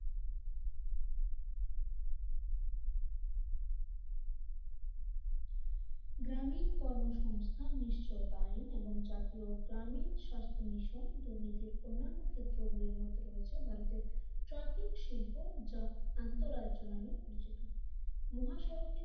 গ্রামীণ কর্মসংস্থান নিশ্চয়ই তাই এবং জাতীয় গ্রামীণ স্বাস্থ্য মিশন দুর্নীতির অন্যান্য ক্ষেত্রে গুলির মধ্যে রয়েছে ভারতের ট্রাকিং শিল্প যা আন্ত রাজ্য নামে পরিচিত মহাসড়কের